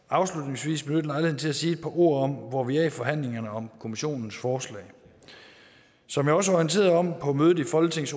afslutningsvis benytte lejligheden til at sige et par ord om hvor vi er i forhandlingerne om kommissionens forslag som jeg også orienterede om på mødet i folketingets